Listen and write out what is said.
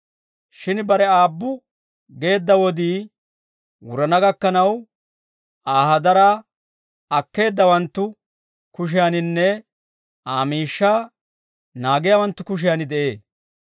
Shin bare aabbu geedda wodii wurana gakkanaw, Aa hadaraa akkeeddawanttu kushiyaaninne Aa miishshaa naagiyaawanttu kushiyan de'ee.